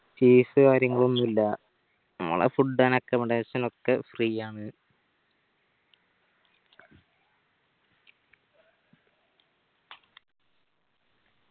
fees കാര്യങ്ങളൊന്നു ഇല്ലാ നമ്മള food and accomodation ഒക്കെ free ആണ്